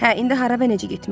Hə, indi hara və necə getməliyik?